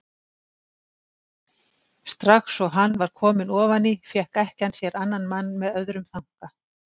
Strax og hann var kominn ofan í fékk ekkjan sér annan mann með öðrum þanka.